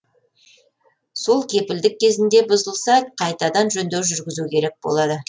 сол кепілдік кезінде бұзылса қайтадан жөндеу жүргізу керек болады